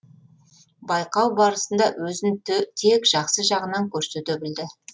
байқау барысында өзін тек жақсы жағынан көрсете білді